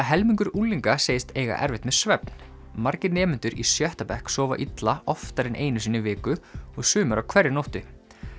helmingur unglinga segist eiga erfitt með svefn margir nemendur í sjötta bekk sofa illa oftar en einu sinni í viku og sumir á hverri nóttu